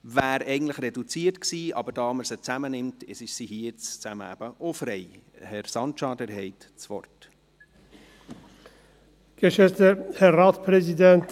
Die Debatte wäre eigentlich reduziert gewesen, aber da wir beide Motionen zusammen beraten, ist die Debatte für beide frei.